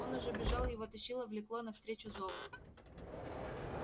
он уже бежал его тащило влекло навстречу зов